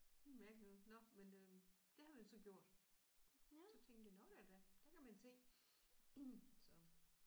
Noget mærkeligt noget nåh men øh det havde vi så gjort. Så tænkte jeg nåh da da der kan man se så